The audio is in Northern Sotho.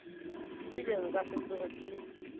ebile nka se tsoge ke